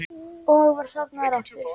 Og var sofnaður aftur.